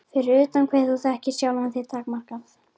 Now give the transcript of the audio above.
Fyrir utan hve þú þekkir sjálfan þig takmarkað.